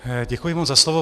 Děkuji moc za slovo.